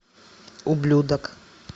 ублюдок